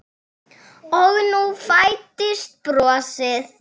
Og nú fæddist bros.